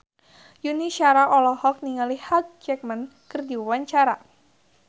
Yuni Shara olohok ningali Hugh Jackman keur diwawancara